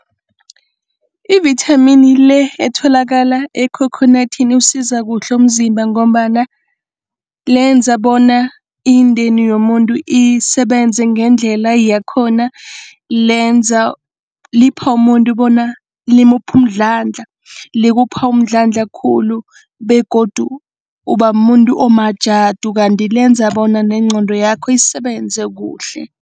Ivithamini le etholakala ekhokhonathini iwusiza kuhle umzimba ngombana lenza bona indeni yomuntu isebenze ngendlela yakhona. Lenza, lipha umuntu bona limupha umndlandla. Likupha umndlandla khulu begodu uba mumuntu omajadu kanti lenza bona nengqondo yakho isebenze kuhle.